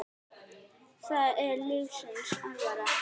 Það er lífsins alvara.